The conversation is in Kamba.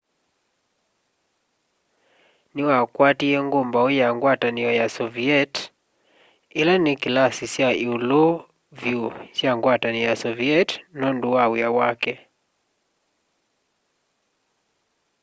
niwakwatie ngumbau ya ngwatanio ya soviet ila ni kilasi kya iulu vyu kya ngwatanio ya soviet nundu wa wia wake